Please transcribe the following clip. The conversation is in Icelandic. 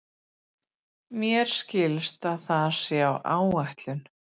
Mér skilst að það sé á áætlun.